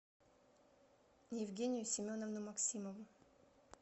евгению семеновну максимову